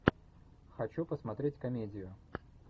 хочу посмотреть комедию